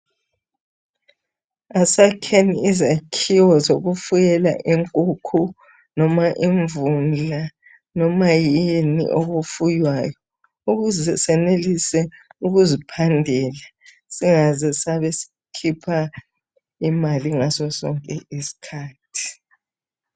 Asakheni izakhiwo zokufuyela inkukhu loba imvundla loba yini okufuywayo ukuze senelise ukuziphandela singaze sabe sikhipha imali ngasosonke isikhathi.